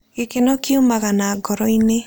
Gĩkeno kiumaga na ngoro-inĩ.